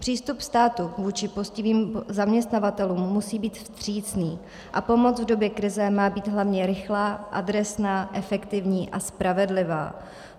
Přístup státu vůči poctivým zaměstnavatelům musí být vstřícný a pomoc v době krize má být hlavně rychlá, adresná, efektivní a spravedlivá.